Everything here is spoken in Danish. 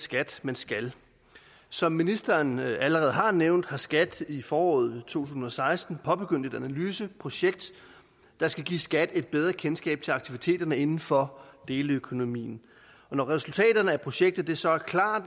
skat man skal som ministeren allerede har nævnt har skat i foråret to tusind og seksten påbegyndt et analyseprojekt der skal give skat et bedre kendskab til aktiviteterne inden for deleøkonomien og når resultaterne af projektet så er klar